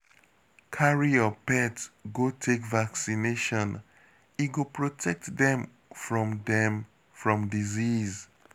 Carry your pet go take vaccination, e go protect dem from dem from disease